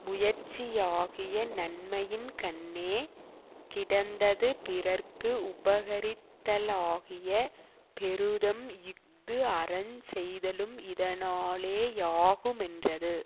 முயற்சியாகிய நன்மையின்கண்ணே கிடந்தது பிறர்க்கு உபகரித்தலாகிய பெருதம் இஃது அறஞ் செய்தலும் இதனாலே யாகுமென்றது